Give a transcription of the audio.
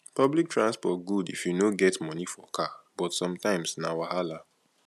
public transport good if you no get money for car but sometimes na wahala